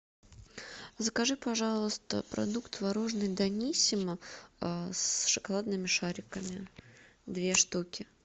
закажи пожалуйста продукт творожный даниссимо с шоколадными шариками две штуки